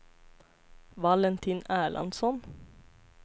Valentin Erlandsson